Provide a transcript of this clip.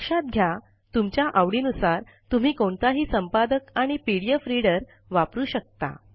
लक्षात घ्या तुमच्या आवडीनुसार तुम्ही कोणताही संपादक आणि पीडीएफ रीडर वापरू शकता